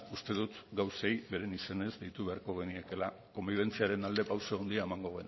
uste dut gauzei beren izenez deitu beharko geniekeela konbibentziaren alde pauso handia emango